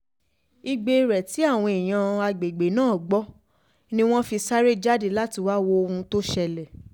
igbe rẹ tí àwọn èèyàn àgbègbè náà gbọ́ ni wọ́n fi sáré jáde láti wáá wo ohun tó ṣẹlẹ̀